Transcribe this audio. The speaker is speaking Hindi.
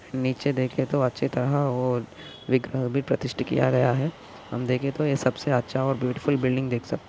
नीचे देखे तो अच्छे तरह और वि विप्रतिष्ठित किया गया है हम देखे तो यह सबसे अच्छा और ब्यूटीफुल बिल्डिंग देख सकते --